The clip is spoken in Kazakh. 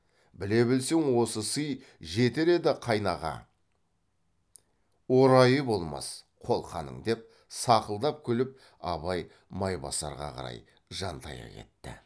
біле білсең осы сый жетер еді қайнаға орайы болмас қолқаның деп сақылдап күліп абай майбасарға қарай жантая кетті